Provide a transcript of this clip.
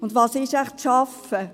Und was ist wohl arbeiten?